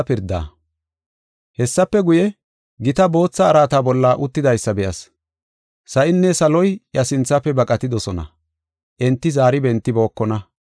Hessafe guye, gita bootha araata bolla uttidaysa be7as. Sa7inne saloy iya sinthafe baqatidosona; enti zaari bentibookona.